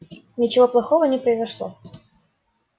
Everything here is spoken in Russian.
ничего плохого не произошло